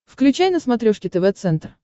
включай на смотрешке тв центр